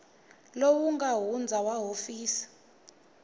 lowu nga hundza wa hofisi